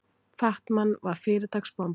Fat-Man var fyrirtaks bomba.